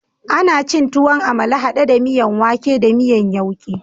Ana cin tuwon amala hade da miyan wake da miyan yauke